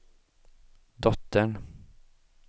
dottern